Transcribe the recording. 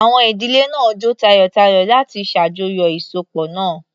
Àwọn ìdílé náà jó tayọ̀tayọ̀ láti ṣàjọyọ̀ ìsopọ̀ náà.